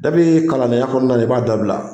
Dɔbi kalan den ya kɔnɔna i b'a dabila.